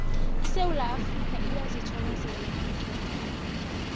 isewula afrikha iyazithokozela iinqundu zebholo